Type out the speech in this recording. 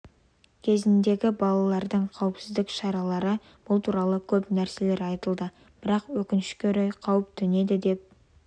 кезіндегі балалардың қауіпсіздік шаралары бұл туралы көп нәрселер айтылады бірақ өкінішке орай қауіп төнеді деп